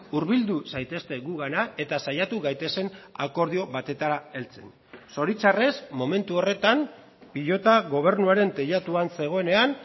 hurbildu zaitezte gugana eta saiatu gaitezen akordio batetara heltzen zoritxarrez momentu horretan pilota gobernuaren teilatuan zegoenean